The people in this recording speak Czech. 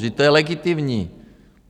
Vždyť to je legitimní.